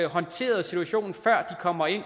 håndteret situationen før de kommer ind